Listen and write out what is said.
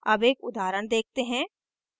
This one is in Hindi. अब एक उदाहरण देखते हैं